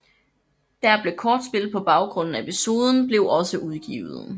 Der blev kortspil på baggrund af episoden blev også udgivet